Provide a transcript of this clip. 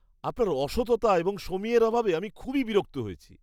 আপনার অসততা এবং সমীহের অভাবে আমি খুবই বিরক্ত হয়েছি।